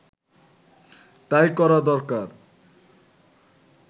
তাই করা দরকার